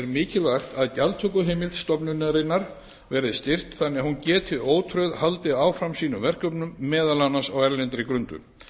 mikilvægt að gjaldtökuheimild stofnunarinnar verði styrkt þannig að hún geti ótrauð haldið áfram sínum verkefnum meðal annars á erlendri grundu